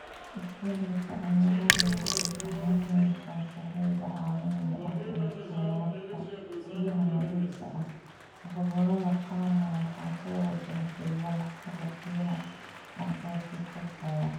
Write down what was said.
Isbeddelka cimiladu waxay saameynaysaa sahayda caalamiga ah ee kheyraadka biyaha nadiifka ah, gobollada qaarna waxaa soo wajahday walaac xagga biyaha ah oo sii kordhaya.